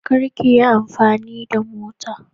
kar kiyi amfani da mota ta.